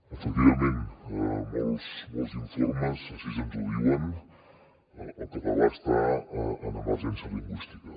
efectivament molts informes així ens ho diuen el català està en emergència lingüística